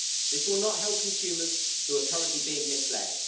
This will not help consumers, who are currently being misled.